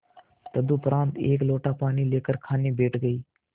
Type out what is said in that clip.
तदुपरांत एक लोटा पानी लेकर खाने बैठ गई